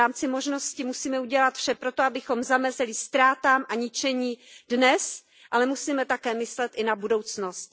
V rámci možností musíme udělat vše proto, abychom zamezili ztrátám a ničení dnes, ale musíme také myslet i na budoucnost.